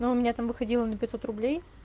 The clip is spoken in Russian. но у меня там выходило на пятьсот рублей